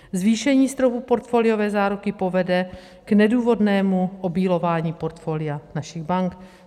Zvýšení stropu portfoliové záruky povede k nedůvodnému obílování portfolia našich bank.